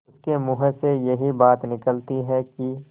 उसके मुँह से यही बात निकलती है कि